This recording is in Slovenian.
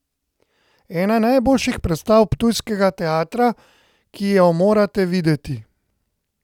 Ena najboljših predstav ptujskega teatra, ki jo morate videti.